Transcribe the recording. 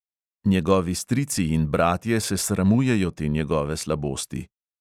Njegovi strici in bratje se sramujejo te njegove slabosti.